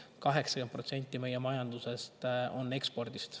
80% meie majandusest ekspordist.